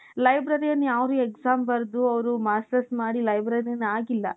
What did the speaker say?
librarian ಯಾರೂ exam ಬರೆದು ಅವರು masters ಮಾಡಿ librarian ಆಗಿಲ್ಲಾ.